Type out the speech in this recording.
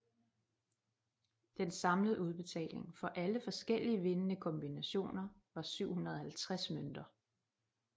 Den samlede udbetaling for alle forskellige vindende kombinationer var 750 mønter